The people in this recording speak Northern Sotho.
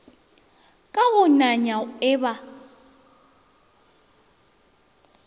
ka go nanya e ba